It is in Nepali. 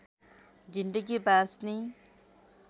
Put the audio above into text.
जिन्दगी बाँच्ने